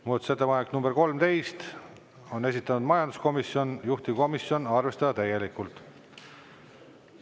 Muudatusettepanek nr 13, on esitanud majanduskomisjon, juhtivkomisjon: arvestada täielikult.